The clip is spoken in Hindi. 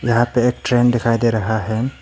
यहां पे एक ट्रेन दिखाई दे रहा है।